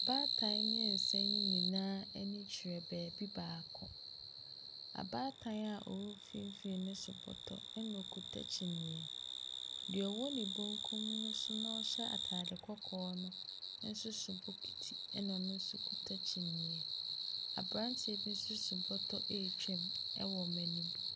Baatan mmiɛnsa ne nyinaa ani kyerɛ bebi baako, abaatan a ɔwɔ mfimfini no so bɔtɔ ɛna ɔkita kyineɛ, deɛ ɔwɔ me bankum ne so no nso hyɛ ataade kɔkɔɔ nso so bokiti ɛna ɔno nso kita kyineɛ. Aberanteɛ bi nso so bɔtɔ ɛretwam ɛwɔ wɔn anim.